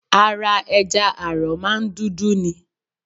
Ara ẹja àrọ̀ máa ń dúdú ni.